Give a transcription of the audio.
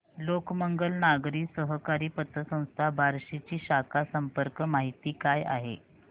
लोकमंगल नागरी सहकारी पतसंस्था बार्शी ची शाखा संपर्क माहिती काय आहे